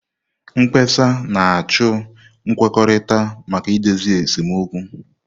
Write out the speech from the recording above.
Mkpesa na-achọ nkwekọrịta maka idozi esemokwu.